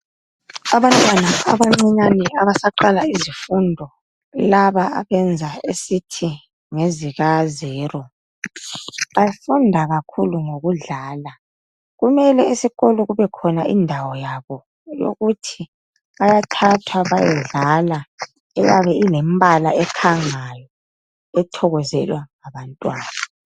Abantwana abancinyane abasaqala izifundo, laba abenza esithi ngezika zero, bafunda kakhulu ngokudlala. Kumele esikolo kube khona indawo yabo yokuthi bayathathwa bayedlala eyabe ilembala ekhangayo ethokozelwa ngabantwana.